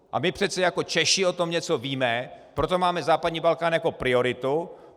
A my přece jako Češi o tom něco víme, proto máme západní Balkán jako prioritu.